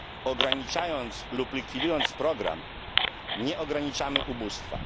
Ograniczając lub likwidując program, nie ograniczamy ubóstwa.